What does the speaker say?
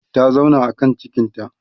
ta zauna a kan cikinta